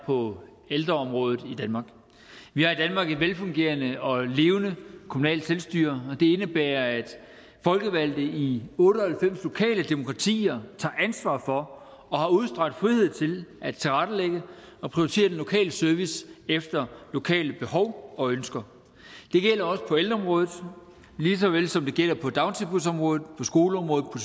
på ældreområdet i danmark vi har i danmark et velfungerende og et levende kommunalt selvstyre og indebærer at folkevalgte i otte og halvfems lokale demokratier tager ansvar for og har udstrakt frihed til at tilrettelægge og prioritere den lokale service efter lokale behov og ønsker det gælder også på ældreområdet lige så vel som det gælder på dagtilbudsområdet på skoleområdet og